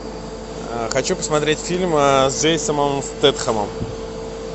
хочу посмотреть фильм с джейсоном стэтхэмом